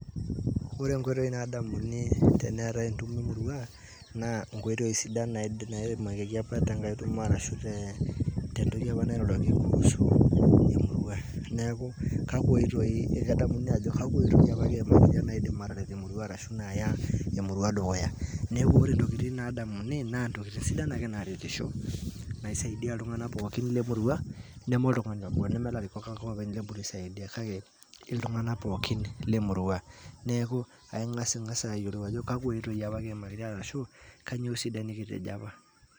Ore nkoitoi naadamuni teneetae entumo emurua, naa inkoitoi sidan naimakieki apa tenkae tumo ashu te, tentoki apa nairoroki kuhusu emurua. Neeku, kakwa oitoi ekedamuni ajo kakwa oitoi apa kiimakitia naidim ataret emurua arshu naya emurua dukuya. Neeku ore ntokiting nadamuni, naa ntokiting sidan ake naretisho. Naisaidia iltung'anak pookin lemurua, neme oltung'ani obo. Neme larikok ake openy eponu aisaidia, kake iltung'anak pookin lemurua. Neeku, aing'asing'asa ayiolou ajo kakwa oitoi ama kiimakitia arashu, kanyioo sidai nikitejo apa.